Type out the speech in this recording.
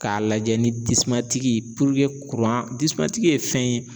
K'a lajɛ ni ye fɛn ye